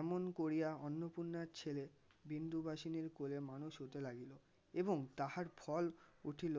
এমন করিয়া অন্নপূর্ণার ছেলে বিন্দুবাসিনির কোলে মানুষ হতে লাগলো এবং তাহার ফল উঠিল